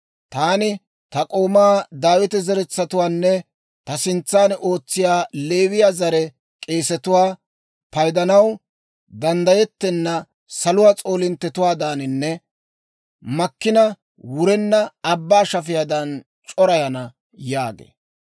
Taani ta k'oomaa Daawita zeretsatuwaanne ta sintsan ootsiyaa Leewiyaa zare k'eesetuwaa paydanaw danddayettenna saluwaa s'oolinttetuwaadaaninne makkina wurenna abbaa shafiyaadan c'orayana» yaagee.